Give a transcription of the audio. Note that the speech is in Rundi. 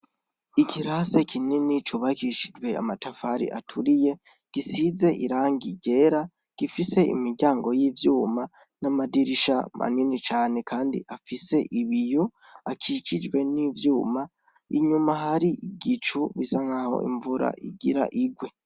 Ikirasi kinini cubakishijwe amatafari aturiye, gisize irangi ryera, gifise imiryango y'ivyuma, n'amadirisha manini cane kandi afise ibiyo, akikijwe n'ivyuma, inyuma har'igicu bisa nkaho imvura igira igwe.